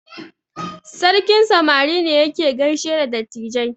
Sarkin samari ne yake gaishe da dattijai.